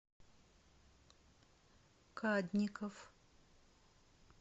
кадников